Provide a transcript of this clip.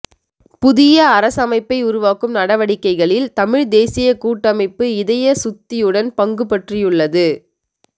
புதிய அரசமைப்பை உருவாக்கும் நடவடிக்கைகளில் தமிழ்த் தேசியக் கூட்டமைப்பு இதய சுத்தியுடன் பங்குபற்றியுள்ளது